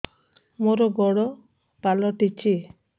ମୋର ଗୋଡ଼ ପାଲଟିଛି